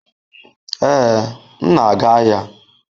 Ee, m na-aga ahịa